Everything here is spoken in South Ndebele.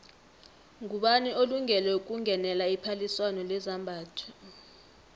ngubani olungele ukungenela iphaliswano lezambatho